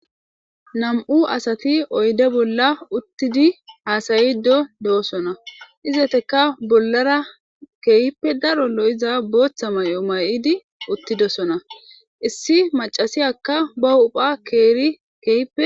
nam7u asati oyde bolla uttidi haasayido do7osona izeteka bollara keehippe daro lo7iza booththa may7o may7idi uttidosona issi macasiyakka ba hupha keeri keehpe